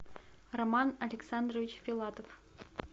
роман александрович филатов